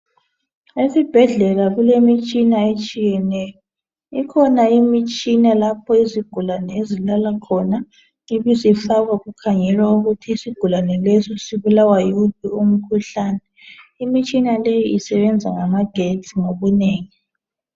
Esibhedlela kulemitshina etshiyeneyo ikhona imitshina lapho izigulane ezilala khona ibisifakwa kukhangelwa ukuthi isigulane leso sibulawa yiwuphi umkhuhlane imitshina leyi isebenza ngamagetsi ngobunengi